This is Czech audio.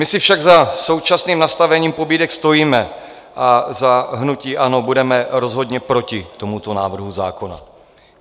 My si však za současným nastavením pobídek stojíme a za hnutí ANO budeme rozhodně proti tomuto návrhu zákona.